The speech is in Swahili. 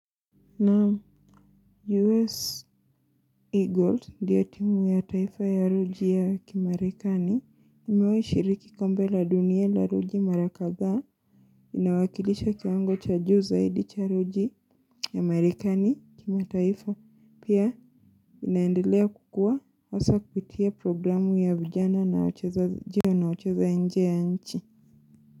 Na U.S. Eagles ndiyo timu ya taifa ya raga ya Marekani. Imewahi kushiriki Kombe la Dunia la Raga mara kadhaa, inawakilisha kiwango cha juu zaidi cha raga ya Marekani kimataifa, pia. Inaendelea kukua, hasa kupitia programu ya vijana na wachezaji wanaocheza nje ya nchi.